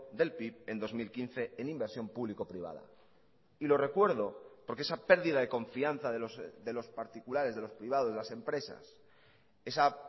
del pib en dos mil quince en inversión público privada y lo recuerdo porque esa pérdida de confianza de los particulares de los privados de las empresas esa